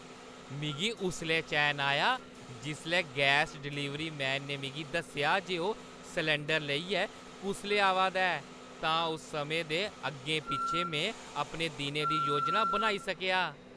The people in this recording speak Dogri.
मिगी उसलै चैन आया जिसलै गैस डिलीवरी मैन ने मिगी दस्सेआ जे ओह्‌ सलैंडर लेइयै कुसलै आवा दा ऐ, तां उस समें दे अग्गें-पिच्छें में अपने दिनै दी योजना बनाई सकेआ।